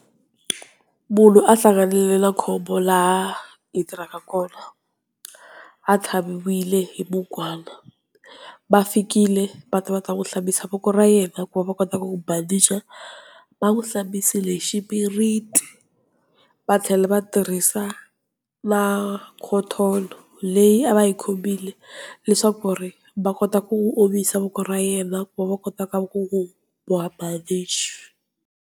Munhu a hlanganela khombo laha hi tirhaka kona, a tlhaviwile hi mukwana va fikile va ta va ta hlambisa voko ra yena ku va va kotaka ku n'wi bandicha va n'wi hlambisile hi xipiriti va tlhela va tirhisa na cotton leyi a va yi khomile leswaku ku ri va kota ku omisa voko ra yena ku va va kota ku va ku ku boha bandichi.